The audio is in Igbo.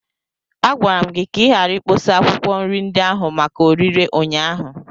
Agwara m gị ka ị ghara ikpọsa akwụkwọ nri ndị ahụ maka orịre ụnyaahụ!